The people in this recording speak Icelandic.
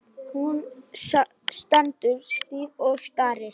Hún stendur stíf og starir.